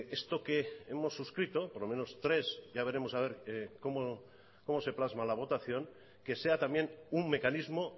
esto que hemos suscrito por lo menos tres ya veremos a ver cómo se plasma la votación que sea también un mecanismo